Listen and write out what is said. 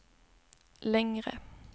längre